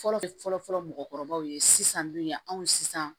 Fɔlɔ fɔlɔ mɔgɔkɔrɔbaw ye sisan dun yan anw sisan